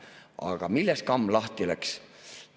Aga millest kamm lahti läks?